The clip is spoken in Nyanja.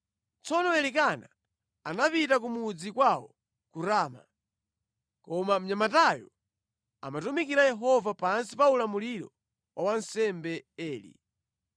Tsono Elikana anapita ku mudzi kwawo ku Rama, koma mnyamatayo amatumikira Yehova pansi pa ulamuliro wa wansembe Eli.